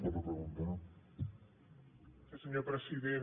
gràcies senyor president